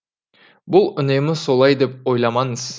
бұл үнемі солай деп ойламаңыз